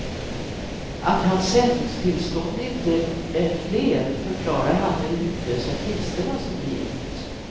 Att hans sändningstillstånd inte är fler förklarar han med de hutlösa priserna som blivit.